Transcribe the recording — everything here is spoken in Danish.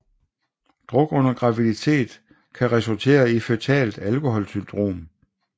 Druk under graviditet kan resultere i føtalt alkoholsyndrom